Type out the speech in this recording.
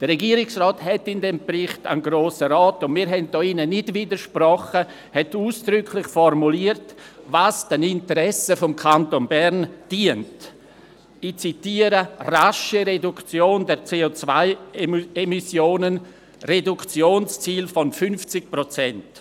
» Der Regierungsrat hat im erwähnten Bericht an den Grossen Rat auch ausdrücklich formuliert – und wir haben in diesem Saal nicht widersprochen –, was den Interessen des Kantons Bern dient: «Rasche Reduktion von CO-Emissionen (Reduktionsziel von 50 %)».